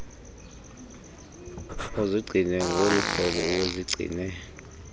uzigcine ngoluhlobo ubuzigcine